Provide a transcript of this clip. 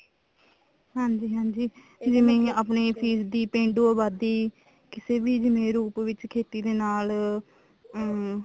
ਹਾਂਜੀ ਹਾਂਜੀ ਜਿਵੇਂ ਆਪਣੇ ਫੀਸਦੀ ਪੇਂਡੂ ਆਬਾਦੀ ਕਿਸੇ ਵੀ ਜਿਵੇਂ ਰੂਪ ਵਿੱਚ ਖੇਤੀ ਦੇ ਨਾਲ ਅਮ